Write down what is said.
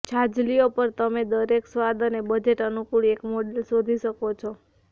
છાજલીઓ પર તમે દરેક સ્વાદ અને બજેટ અનુકૂળ એક મોડેલ શોધી શકો છો